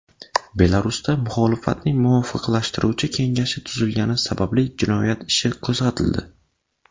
Belarusda muxolifatning muvofiqlashtiruvchi kengashi tuzilgani sababli jinoyat ishi qo‘zg‘atildi.